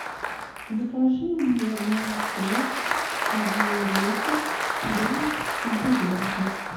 закажи мне молоко один литр домик в деревне